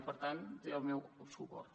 i per tant té el meu suport